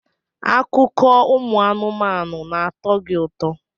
Akụkọ ụmụ anụmanụ na-atọ gị ụtọ?